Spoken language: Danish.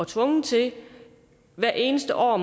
tvunget til hvert eneste år